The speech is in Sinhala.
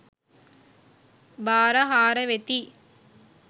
භාර හාර වෙති.